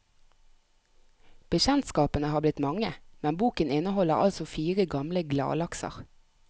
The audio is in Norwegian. Bekjentskapene har blitt mange, men boken inneholder altså fire gamle gladlakser.